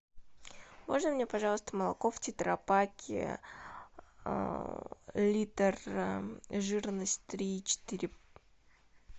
можно мне пожалуйста молоко в тетрапаке литр жирность три и четыре